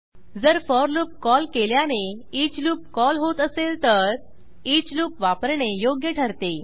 जर for loop call केल्याने each loop call होत असेल तर ईच लूप वापरणे योग्य ठरते